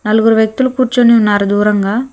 నలుగురు వ్యక్తులు కూర్చోని ఉన్నారు దూరంగా.